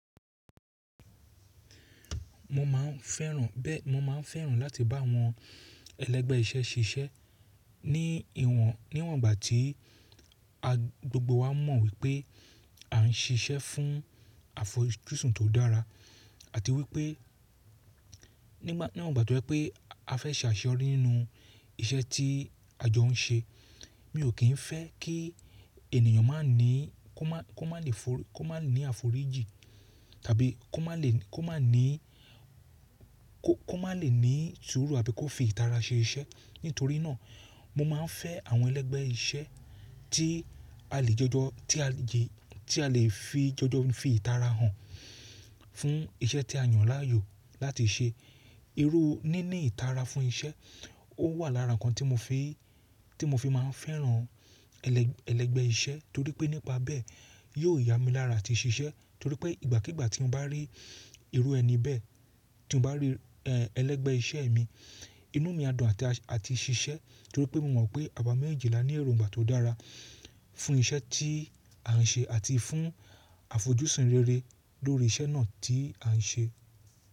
Mo máa ń fẹ́ràn bẹ́ẹ̀, mo máa ń fẹ́ràn láti bá àwọn ẹlẹ́gbẹ́ iṣẹ́ ṣiṣẹ́ ní ìwọ̀n, níwọ̀n ìgbà tí a gbogbo wa mọ̀ wípé a ń ṣiṣẹ́ fún àfojúsùn tó dára àti wípé nígbà, níwọ̀n ìgbà tí ó jẹ́ pé a fẹ́ ṣe àṣẹ rí nínú iṣẹ́ tí àjọ ń ṣe. Mi ò kí ń fẹ́ kí ènìyàn má ní kó má, kó má lè forí, kó má ní àforíjì tàbí kó má lè, kó má ní kó, kó má lè ní sùúrù àbí kó fi ìtara ṣe iṣẹ́. Nítorí náà mo máa ń fẹ́ àwọn ẹlẹ́gbẹ́ iṣẹ́ tí a lè jọjọ, tí a lè yè, tí a lè fi jọjọ fi ìtara hàn fún iṣẹ́ tí a yàn láàyò láti ṣe. Irú níní ìtara fún iṣẹ́ ó wà lára ǹkan tí mo fi, tí mo fi máa ń fẹ́ràn ẹlẹ́, ẹlẹ́gbẹ́ iṣẹ́ torí pé nípa bẹ́ẹ̀ yóò yá mi lára àti ṣiṣẹ́ torí pé ìgbàkígbà tí mo bá rí irú ẹni bẹ́ẹ̀ tí mo bá rí ẹlẹ́gbẹ́ iṣẹ́ mi inú mi á dùn àti, àti ṣiṣẹ́ torí pé mo mọ̀ pé àwa méjejì lá ní èròǹgbà tó dára fún iṣẹ́ tí à ń ṣe àti fún àfojusùn rere lórí iṣẹ́ náà tí à ń ṣe.